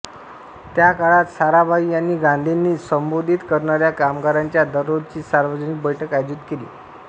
त्या काळात साराभाई यांनी गांधींनी संबोधित करणाऱ्या कामगारांच्या दररोजची सार्वजनिक बैठक आयोजित केली